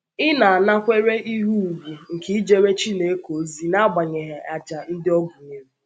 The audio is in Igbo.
Ị̀ na - anakwere ihe ùgwù nke ijere Chineke ozi n’agbanyeghị àjà ndị ọ gụnyere?